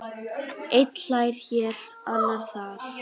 Einn hlær hér, annar þar.